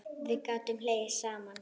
Við gátum hlegið saman.